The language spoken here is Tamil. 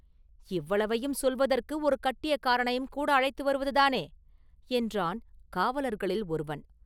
“இவ்வளவையும் சொல்வதற்கு ஒரு கட்டியக்காரனையும் கூட அழைத்து வருவதுதானே?” என்றான் காவலர்களில் ஒருவன்.